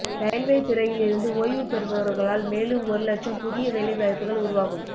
railway துறையில் இருந்து ஓய்வு பெறுபவர்களால் மேலும் ஒரு லட்சம் புதிய வேலை வாய்ப்புகள் உருவாகும்